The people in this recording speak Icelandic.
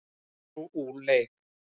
Perú úr leik